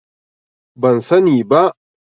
Ban sani bi